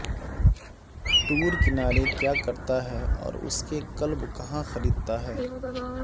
tour کنارے کیا کرتا ہے اور اس کے کلب کہاں خریدتا ہے